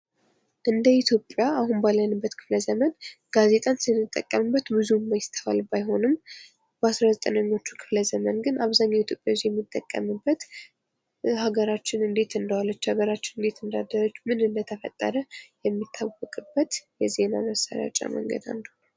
እንደ ኢትዮጵያ አሁን ባለንበት ክፍለ ዘመን ጋዜጣን ስንጠቀምበት ብዙ የማይተዋል ባይሆንም በ19ኞቹ ክፍለ ዘመን ግን አብዛኛው ኢትዮጵያ ሰው የሚጠቀምበት ሀገራችን እንደዋለች ሀገራችን እንዳደረች ምን እንደተፈጠረ የሚታወቅበት የዜና መሰራጫ መንገድ አንዱ ነው።